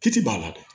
Kiti b'a la dɛ